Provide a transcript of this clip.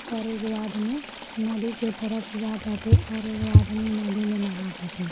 और एगो आदमी नदी के तरफ जाताटे और एगो आदमी नदी में नहाताटे।